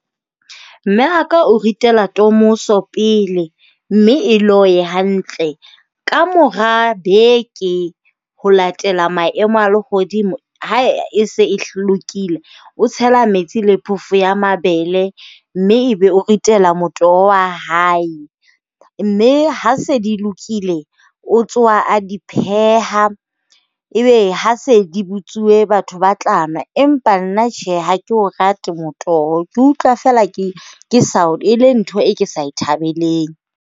Mme wa ka o ritela tomoso pele mme e loye hantle. kamora beke, ho latela maemo a lehodimo, ha e se lokile, o tshela metsi le phoofo ya mabele mme ebe o ritela motoho wa hae. Mme ha se di lokile, o tsoha a di pheha. Ebe ha se di botsuwe batho ba tla nwa. Empa nna tjhe ha ke o rate motoho. Ke utlwa feela ke e le ntho e ke sa e thabeleng.